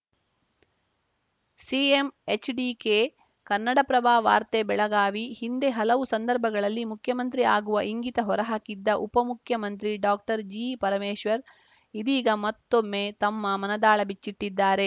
CM HDK Kannada Prabha ವಾರ್ತೆ ಬೆಳಗಾವಿ ಹಿಂದೆ ಹಲವು ಸಂದರ್ಭಗಳಲ್ಲಿ ಮುಖ್ಯಮಂತ್ರಿ ಆಗುವ ಇಂಗಿತ ಹೊರಹಾಕಿದ್ದ ಉಪಮುಖ್ಯಮಂತ್ರಿ ಡಾಕ್ಟರ್ ಜಿಪರಮೇಶ್ವರ್‌ ಇದೀಗ ಮತ್ತೊಮ್ಮೆ ತಮ್ಮ ಮನದಾಳ ಬಿಚ್ಚಿಟ್ಟಿದ್ದಾರೆ